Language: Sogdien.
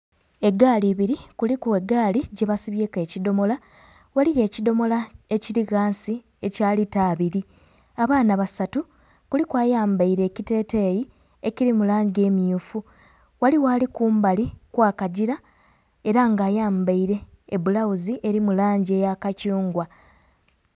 Egaali ibiri kuliku egaali gyebasibyeku ekidomola, ghaligho ekidomola ekiri ghansi ekya lita abiri, abaana basatu kuliku ayambaire ekiteteyi ekiri mu langi emyufu, ghaligho ali kumbali kwa kagira era nga ayambaire ebbulaghuzi eri mu langi eya kathungwa.